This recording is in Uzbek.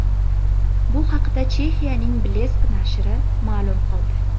Bu haqda Chexiyaning Blesk nashri ma’lum qildi .